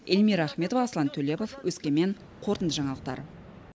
эльмира ахметова аслан төлепов өскемен қорытынды жаңалықтар